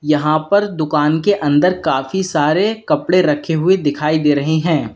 यहां पर दुकान के अंदर काफी सारे कपड़े रखे हुए दिखाई दे रहे हैं।